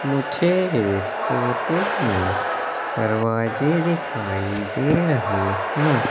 मुझे इस फोटो में दरवाजे दिखाई दे रहे हैं।